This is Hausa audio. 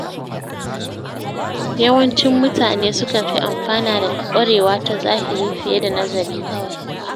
Yawancin mutane sukan fi amfana daga ƙwarewa ta zahiri fiye da nazari kawai.